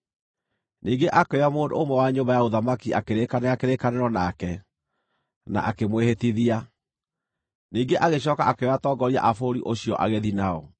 Ningĩ akĩoya mũndũ ũmwe wa nyũmba ya ũthamaki akĩrĩkanĩra kĩrĩkanĩro nake, na akĩmwĩhĩtithia. Ningĩ agĩcooka akĩoya atongoria a bũrũri ũcio agĩthiĩ nao,